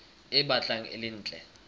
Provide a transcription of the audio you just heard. e batlang e le ntle